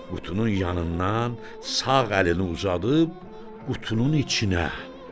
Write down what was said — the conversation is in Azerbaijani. Qutunun yanından sağ əlini uzadıb qutunun içinə.